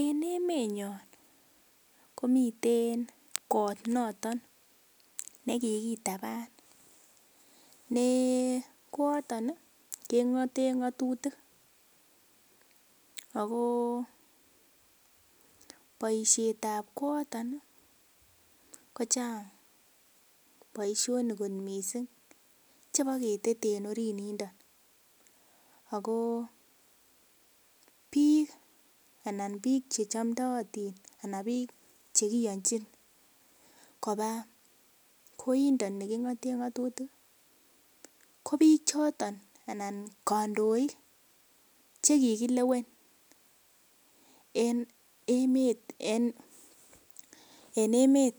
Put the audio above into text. En emenyon komiten kot noton nekikitaban ne kooton nii kengoten ngotutik ako boishetab kooton nii kochang boishoni kot missing chebo ketete en orit nindon akoo bik anan bik chechomdoyotin anan bik chekiyonchin koba koindon nekingoten ngotutik ko bik choton anan kondoik chekikilewen en emet en emet